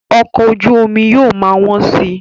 Ọkọ̀ ojú omi yóò ma wọ́n si